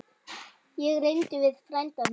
Ég ræddi við frænda minn.